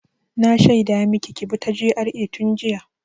Na shaida maki ki bi ta GRA tun jiya!